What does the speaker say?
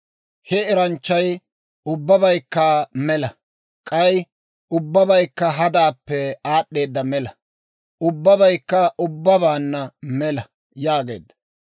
He eranchchay, «Ubbabaykka mela; k'ay ubbabaykka hadaappe aad'd'eeda mela; ubbabaykka ubbaanna mela» yaageedda.